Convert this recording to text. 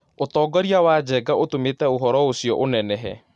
Ũtongoria wa Njenga ũtũmĩte ũhoro ũcio ũnenehe